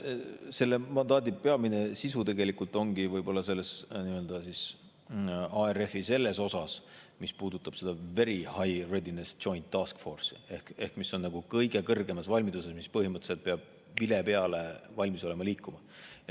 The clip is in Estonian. Selle mandaadi peamine sisu ongi tegelikult võib-olla ARF-i selles osas, mis puudutab Very High Readiness Joint Task Force'i, mis on kõige kõrgemas valmiduses ja peab põhimõtteliselt olema valmis vile peale liikuma.